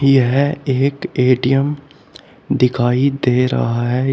यह एक ए_टी_एम दिखाई दे रहा है।